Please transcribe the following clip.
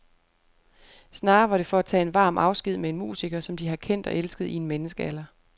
Snarere var det for at tage en varm afsked med en musiker, som de har kendt og elsket i en menneskealder.